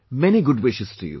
Many good wishes to you